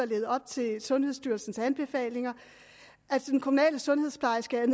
levet op til sundhedsstyrelsens anbefalinger de kommunale sundhedsplejersker er